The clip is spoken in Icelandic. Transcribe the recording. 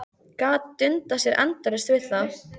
Gat dundað sér endalaust við það.